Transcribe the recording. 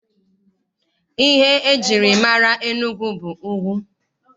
Ihe e jiri mara Enugwu bụ ugwu.